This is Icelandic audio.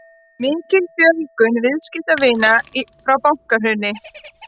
Mikil fjölgun viðskiptavina frá bankahruni